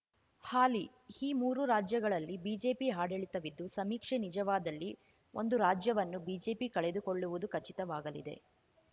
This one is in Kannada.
ಹಾಲಿ ಈ ಮೂರೂ ರಾಜ್ಯಗಳಲ್ಲಿ ಬಿಜೆಪಿ ಆಡಳಿತವಿದ್ದು ಸಮೀಕ್ಷೆ ನಿಜವಾದಲ್ಲಿ ಒಂದು ರಾಜ್ಯವನ್ನು ಬಿಜೆಪಿ ಕಳೆದುಕೊಳ್ಳುವುದು ಖಚಿತವಾಗಲಿದೆ